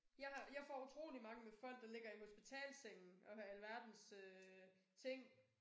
Jeg har jeg får utrolig mange med folk der ligger i hospitalssenge og har alverdens øh ting